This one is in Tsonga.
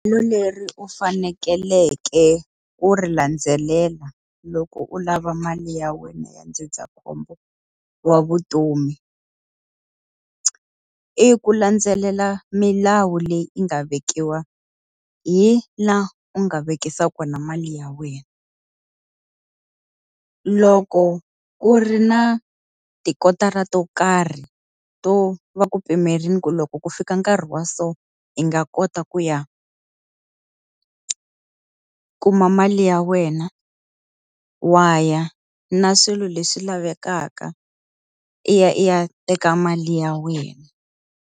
Leri u fanekeleke ku ri landzelela loko u lava mali ya wena ya ndzindzakhombo wa vutomi. I ku landzelela milawu leyi yi nga vekiwa hi laha u nga vekisa kona mali ya wena. Loko ku ri na tikotara to karhi to va ku pimerile ku loko ku fika nkarhi wa so i nga kota ku ya kuma mali ya wena, wa ya na swilo leswi lavekaka i ya i ya teka mali ya wena.